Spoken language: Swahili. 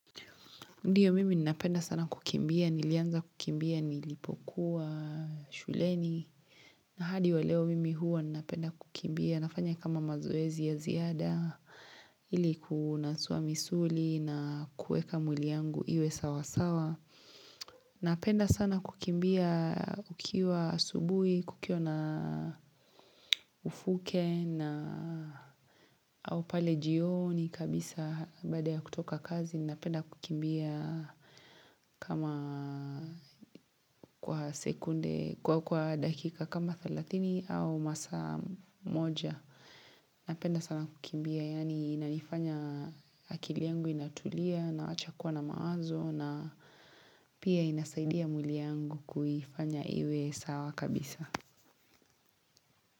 Ndiyo mimi ninapenda sana kukimbia, nilianza kukimbia, nilipokuwa shuleni. Na hadi wa leo mimi huwa ninapenda kukimbia. Nafanya kama mazoezi ya ziada, ili kunasua misuli na kueka mwili yangu iwe sawasawa. Napenda sana kukimbia ukiwa subuhi, kukiwa na ufuke na au pale jioni kabisa baada ya kutoka kazi. Napenda kukimbia kama kwa sekunde, kwa dakika kama 30 au masaa moja. Napenda sana kukimbia yaani inanifanya akili yangu inatulia nawacha kuwa na mawazo na pia inasaidia mwili yangu kuifanya iwe sawa kabisa.